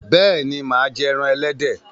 béèni má jé èràn elédè.